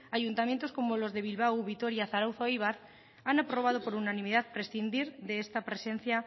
ayuntamientos como los de bilbao vitoria zarautz o eibar han aprobado por unanimidad prescindir de esta presencia